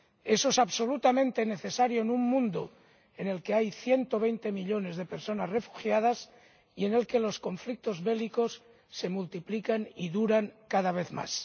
Eso es absolutamente necesario en un mundo en el que hay 120 millones de personas refugiadas y en el que los conflictos bélicos se multiplican y duran cada vez más.